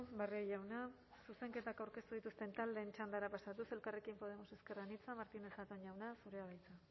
barrio jauna zuzenketak aurkeztu dituzten taldeen txandara pasatuz elkarrekin podemos ezker anitza martínez zatón jauna